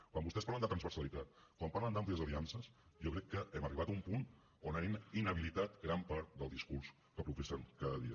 quan vostès parlen de transversalitat quan parlen d’àmplies aliances jo crec que hem arribat a un punt on han inhabilitat gran part del discurs que professen cada dia